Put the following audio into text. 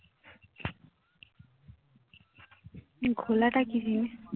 ঘোলাটা কি জিনিস